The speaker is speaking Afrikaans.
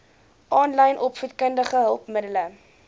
aanlyn opvoedkundige hulpmiddele